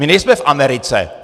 My nejsme v Americe.